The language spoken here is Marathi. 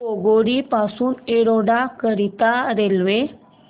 केंगेरी पासून एरोड करीता रेल्वे